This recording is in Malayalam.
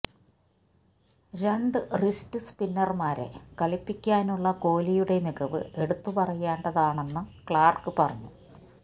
രണ്ട് റിസ്റ്റ് സ്പിന്നര്മാരെ കളിപ്പിക്കാനുള്ള കോലിയുടെ മികവ് എടുത്ത് പറയേണ്ടതാണെന്നും ക്ലാര്ക്ക് പറഞ്ഞു